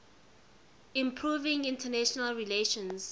improving international relations